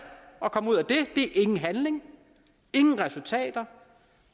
og kommer ud af det er ingen handling ingen resultater